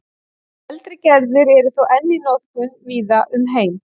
Eldri gerðir eru þó enn í notkun víða um heim.